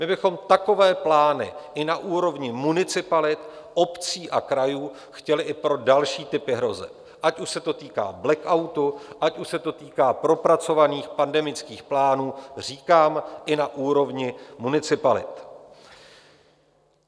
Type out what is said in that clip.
My bychom takové plány i na úrovni municipalit obcí a krajů chtěli i pro další typy hrozeb, ať už se to týká blackoutu, ať už se to týká propracovaných pandemických plánů, říkám i na úrovni municipalit.